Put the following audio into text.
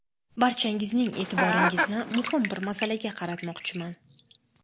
Barchangizning e’tiboringizni muhim bir masalaga qaratmoqchiman.